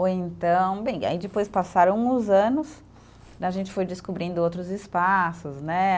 Ou então, bem, aí depois passaram os anos, a gente foi descobrindo outros espaços, né?